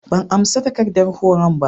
ban amsa takardar horon ba.